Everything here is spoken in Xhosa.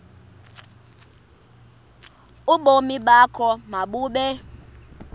ubomi bakho mabube